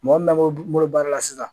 Mɔgɔ min ba fɔ n bolo be baara la sisan